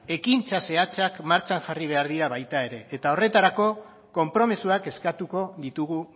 ekintza zehatzak martxan jarri behar dira baita ere eta horretarako konpromisoak eskatuko ditugu